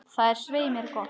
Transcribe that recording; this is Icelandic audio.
Það er svei mér gott.